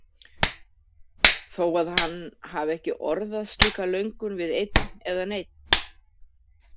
Þó að hann hafi ekki orðað slíka löngun við einn eða neinn.